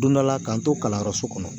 Don dɔ la k'an to kalanyɔrɔso kɔnɔ